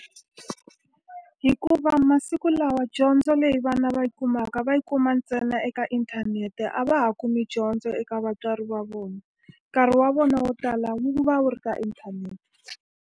Hikuva masiku lawa dyondzo leyi vana va yi kumaka va yi kuma ntsena eka inthanete, a va ha kumi dyondzo eka vatswari va vona. Nkarhi wa vona wo tala wu va wu ri ka inthanete.